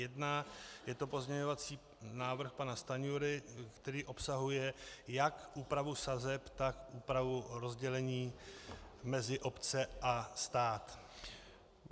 Je to pozměňovací návrh pana Stanjury, který obsahuje jak úpravu sazeb, tak úpravu rozdělení mezi obce a stát.